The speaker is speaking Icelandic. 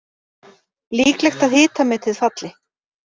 Líklegt að hitametið falli